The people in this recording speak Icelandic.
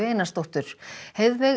Einarsdóttur